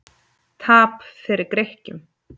Tap fyrir Grikkjum